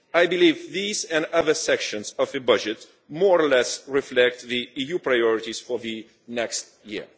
I believe these, and other sections of the budget, more or less reflect the EU priorities for the next year.